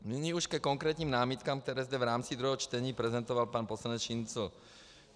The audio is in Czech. Nyní už ke konkrétním námitkám, které zde v rámci druhého čtení prezentoval pan poslanec Šincl.